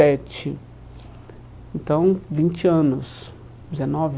Então, vinte anos. Dezenove